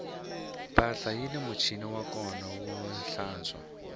mpahla yini muchini wa kona wo tlantswa